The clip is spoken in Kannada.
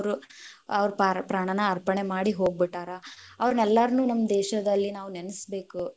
ಅವ್ರ ಪಾರ~ ಪ್ರಾಣಾನಾ ಅಪ೯ಣೆ ಮಾಡಿ ಹೋಗ್ಬೀಟ್ಟಾರ, ಅವ್ರನೆಲ್ಲಾರ್ನು ನಮ್ಮ ದೇಶದಲ್ಲಿ ನಾವು ನೆನಸ್ಬೇಕ್